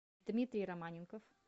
дмитрий романенков